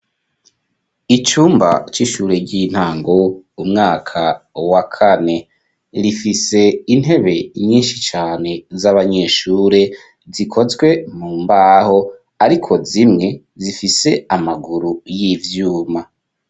Icumba c'ishure ry'intango, umwaka wa kane. Rifise intebe nyinshi cane z'abanyeshure, zikozwe mu mbaho, ariko zimwe zifise amaguru y'ivyuma.